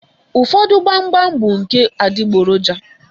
Ụfọdụ gbam gbam bụ nke adịgboroja.